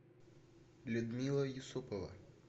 людмила юсупова